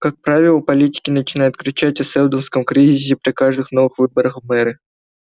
как правило политики начинают кричать о сэлдоновском кризисе при каждых новых выборах в мэры